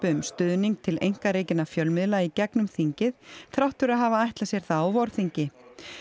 um stuðning til einkarekinna fjölmiðla í gegnum þingið þrátt fyrir að hafa ætlað sér það á vorþingi